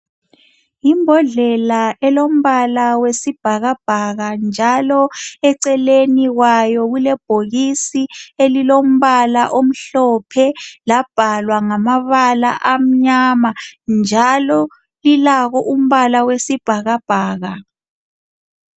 Yimbodlela elombala wesibhakabhaka njalo eceleni kwayo kulebhokisi elilombala omhlophe labhalwa ngamabala amnyama njalo lilawo umbala wesibhakabhaka.